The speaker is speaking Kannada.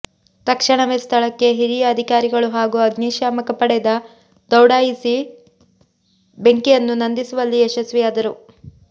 ತಕ್ಷಣವೇ ಸ್ಥಳಕ್ಕೆ ಹಿರಿಯ ಅಧಿಕಾರಿಗಳು ಹಾಗೂ ಅಗ್ನಿಶಾಮಕ ಪಡೆದ ದೌಡಾಯಿಸಿ ಬೆಂಕಿಯನ್ನು ನಂದಿಸುವಲ್ಲಿ ಯಶಸ್ವಿಯಾದರು